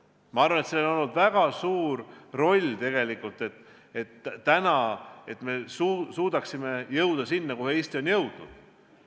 Ja ma arvan, et sellel on olnud tegelikult väga suur roll, et me oleme suutnud jõuda sinna, kuhu Eesti on jõudnud.